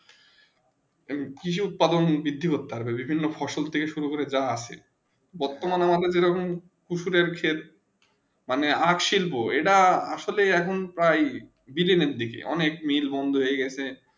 কৃষি উৎপাদন বিধি করতে পারবে বিভিন্ন ফসল শুরু করে যা আসে বর্তমানে আমাদের যেরকম পুরুষের ক্ষেত্র মানে আঁখ শিল্প মানে এইটা আসলে এখন প্রায় শেষে দিকে অনেক মিলল বন্ধ হয়ে গেছে